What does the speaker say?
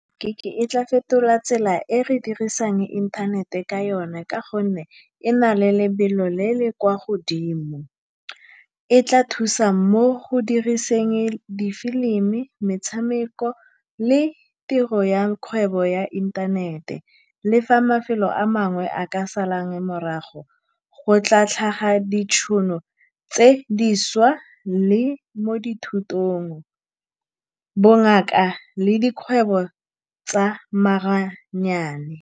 Gig-e e tla fetola tsela e re dirisang inthanete ka yone, ka gonne e na le lebelo le le kwa godimo. E tla thusa mo go diriseng di-film-i, metshameko le tiro ya kgwebo ya inthanete. Le fa mafelo a mangwe a ka salang morago, go tla tlhaga ditšhono tse dišwa le mo dithutong, bongaka le dikgwebo tsa maaranyane.